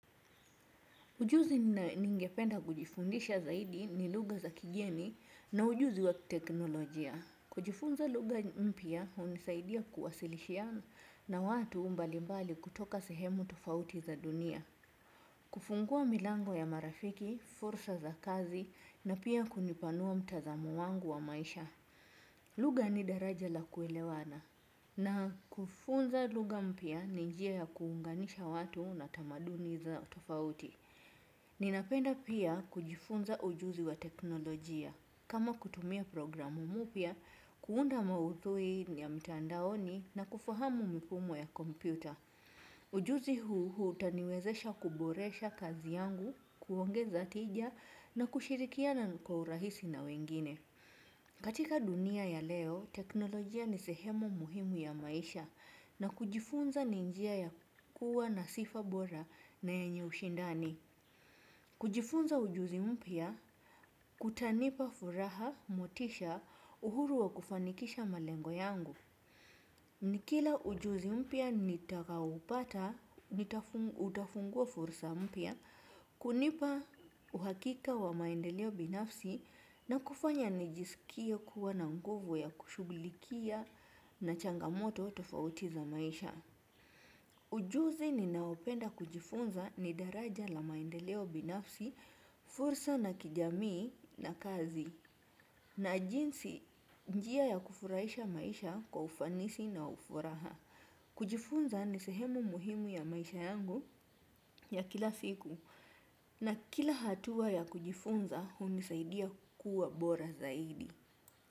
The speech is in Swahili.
Ujuzi ningependa kujifundisha zaidi ni lugha za kigeni na ujuzi wa teknolojia. Kujifunza luga mpya unisaidia kuwasilishia na watu mbali mbali kutoka sehemu tofauti za dunia. Kufungua milango ya marafiki, fursa za kazi na pia kunipanua mtazamo wangu wa maisha. Lugha ni daraja la kuelewana. Na kufunza lugha mpya ni njia ya kuunganisha watu na tamaduni za tofauti. Ninapenda pia kujifunza ujuzi wa teknolojia. Kama kutumia programu mupya, kuunda maudhui ya mitandaoni na kufahamu mfumo ya kompyuta. Ujuzi huu utaniwezesha kuboresha kazi yangu, kuongeza tija na kushirikiana kwa urahisi na wengine. Katika dunia ya leo, teknolojia ni sehemu muhimu ya maisha na kujifunza ni njia ya kuwa na sifa bora na yenye ushindani. Kujifunza ujuzi mpya, kutanipa furaha, motisha, uhuru wa kufanikisha malengo yangu. Nikila ujuzi mpya nitakaa upata, utafungua fursa mpya, kunipa uhakika wa maendeleo binafsi, na kufanya nijisikie kuwa na nguvu ya kushugulikia na changamoto tofauti za maisha. Ujuzi ninaopenda kujifunza ni daraja la maendeleo binafsi, fursa na kijamii na kazi. Na jinsi njia ya kufuraisha maisha kwa ufanisi na ufuraha. Kujifunza ni sehemu muhimu ya maisha yangu ya kila siku. Na kila hatua ya kujifunza unisaidia kukua bora zaidi.